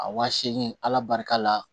A wa seegin ala barika la